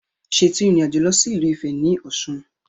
Ṣètò ìrìnàjò lọ sí ìlú Ifẹ̀ ní Ọ̀ṣun